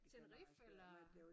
Tenerife eller?